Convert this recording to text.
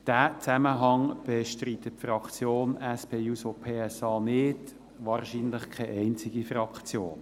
Diesen Zusammenhang bestreitet die Fraktion SP-JUSO-PSA nicht, wahrscheinlich keine einzige Fraktion.